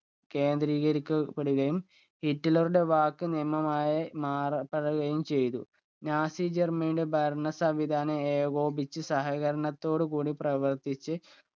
കേന്ദ്രീകരിക്കപ്പെടുകയും ഹിറ്റ്ലറുടെ വാക്ക് നിയമമായി മാറപ്പെടുകയും ചെയ്തു. നാസി ജർമനിയുടെ ഭരണ സംവിധാനം ഏകോപിച്ചു സഹകരണത്തോടു കൂടി പ്രവർത്തിച്ച്